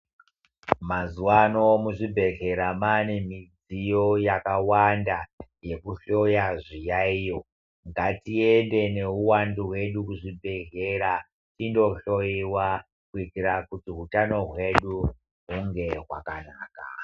Mazuwaano muzvibhedhlera maane midziyo yakawanda yekuhloya zviyaiyo ngatiende neuwandu hwedu kuzvibhedhlera tindohloyiwa kuitira kuti utano hwedu hunge hwakanaka.